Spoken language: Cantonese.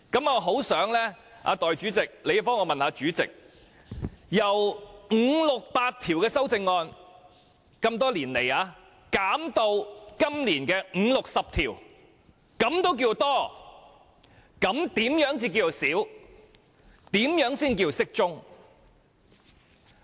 我很想代理主席替我問問主席：這些年來，由五六百項修正案減至今年的五六十項，他仍認為算多的話，則何謂少或適中呢？